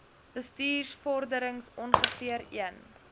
bestuursvorderings ongeveer een